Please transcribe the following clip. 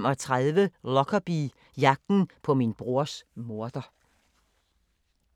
00:35: Lockerbie – jagten på min brors morder